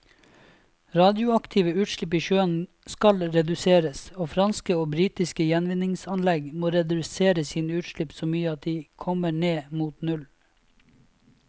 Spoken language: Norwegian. Radioaktive utslipp i sjøen skal reduseres, og franske og britiske gjenvinningsanlegg må redusere sine utslipp så mye at de kommer ned mot null.